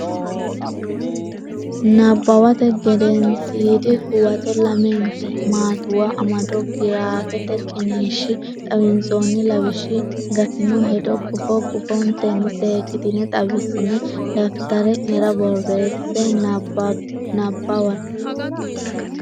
Nabbawate Gedensiidi Huwato lamente maattuwa amado giraafete qiniishshi xawinsoonni lawishshi gattino hedo gufo gufontenni seekkitine xawissine daftari nera borreesse Nabbawate.